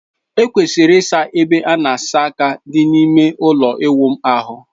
E kwesịrị ịsa ebe a na asa aka dị n'ime ụlọ ịwụ ahụ.